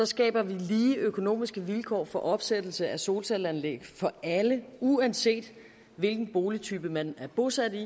skaber vi lige økonomiske vilkår for opsættelse af solcelleanlæg for alle uanset hvilken boligtype man er bosat i